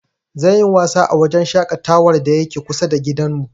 Zan yi wasa a wajen shaƙatawar da yake kusa da gidanmu.